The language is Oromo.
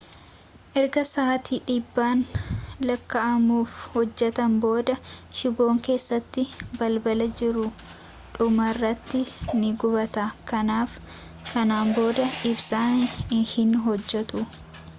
ergaa sa'aati dhibban lakka'amuuf hojjateen booda shiiboon keessa balbii jiru dhumarratti ni gubata kanaaf kana booda ibsaan hin hojjatu